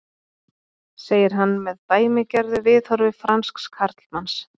segir hann með dæmigerðu viðhorfi fransks karlmanns.